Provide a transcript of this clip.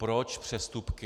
Proč přestupky?